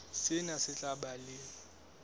sena se tla ba le